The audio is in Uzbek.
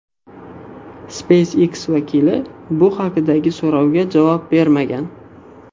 SpaceX vakili bu haqdagi so‘rovga javob bermagan.